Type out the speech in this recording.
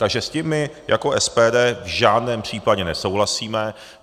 Takže s tím my jako SPD v žádném případě nesouhlasíme.